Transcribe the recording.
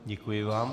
Děkuji vám.